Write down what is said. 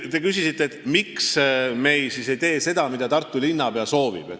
Te küsisite, miks me siis ei tee seda, mida Tartu linnapea soovib.